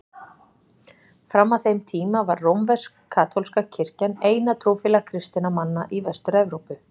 Fram að þeim tíma var rómversk-katólska kirkjan eina trúfélag kristinna manna í Vestur-Evrópu.